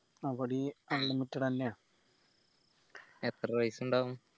അവിടെയും unlimited എന്നയ എത്ര പൈസ ഇണ്ടാവും